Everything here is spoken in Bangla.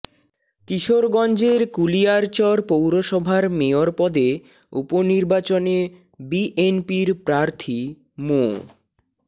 কিশোরগঞ্জের কুলিয়ারচর পৌরসভার মেয়র পদে উপনির্বাচনে বিএনপির প্রার্থী মো